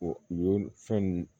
fɛn nun